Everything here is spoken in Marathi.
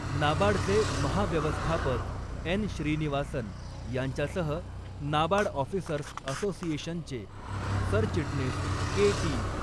नाबार्डचे महाव्यवस्थापक एन श्रीनिवासन यांच्यासह नाबार्ड ऑफिसर्स असोसिएशनचे सरचिटणीस के टी.